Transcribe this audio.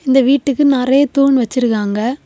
இந்த வீட்டுக்கு நறைய தூண் வச்சிருக்காங்க.